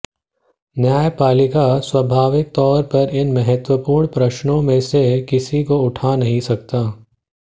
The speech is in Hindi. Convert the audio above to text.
न्यायपालिका स्वाभाविक तौर पर इन महत्त्वपूर्ण प्रश्नों में से किसी को उठा नहीं सकता